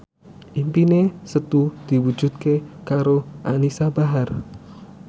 impine Setu diwujudke karo Anisa Bahar